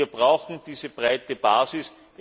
Wir brauchen diese breite Basis.